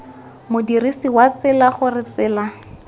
modirsi wa tsela gore tsela